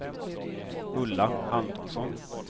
Ulla Antonsson